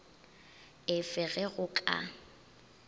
e fe ge go ka